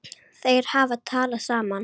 Þeir hafa talað saman.